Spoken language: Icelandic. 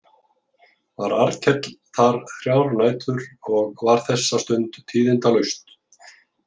Var Arnkell þar þrjár nætur og var þessa stund tíðindalaust.